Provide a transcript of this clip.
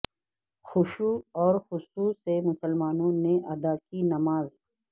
خشو ع و خصوع سے مسلمانوں نے ادا کی نماز